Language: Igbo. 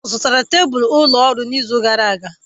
A zụtara tebụl ụlọ ọrụ n'izu gara aga.